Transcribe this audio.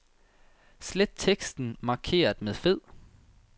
Slet teksten markeret med fed.